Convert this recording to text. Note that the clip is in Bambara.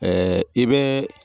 i bɛ